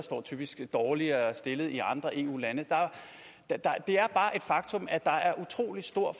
typisk dårligere stillet i andre eu lande det er bare et faktum at der er utrolig stor